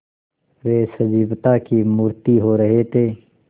वे सजीवता की मूर्ति हो रहे थे